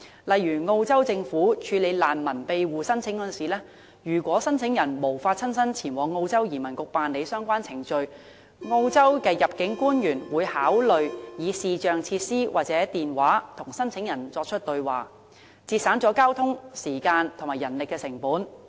例如，澳洲政府處理難民庇護申請時，如果申請人無法親身前往澳洲移民局辦理相關程序，入境官員會考慮以視像設施或電話與申請人對話，節省交通時間和人力成本。